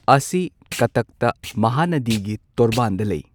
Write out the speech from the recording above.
ꯑꯁꯤ ꯀꯠꯇꯛꯇ ꯃꯍꯥꯅꯗꯤꯒꯤ ꯇꯣꯔꯕꯥꯟꯗ ꯂꯩ꯫